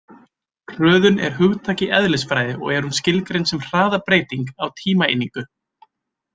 Hröðun er hugtak í eðlisfræði og er hún skilgreind sem hraðabreyting á tímaeiningu.